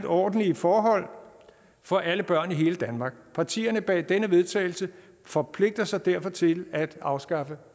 ordentlige forhold for alle børn i hele danmark partierne bag denne vedtagelse forpligter sig derfor til at afskaffe